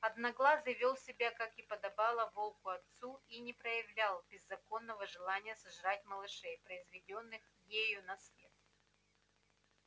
одноглазый вёл себя как и подобало волку отцу и не проявлял беззаконного желания сожрать малышей произведённых ею на свет